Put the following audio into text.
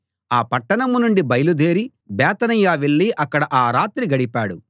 ఆ పట్టణం నుండి బయలుదేరి బేతనియ వెళ్ళి అక్కడ ఆ రాత్రి గడిపాడు